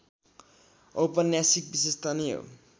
औपन्यासिक विशेषता नै हो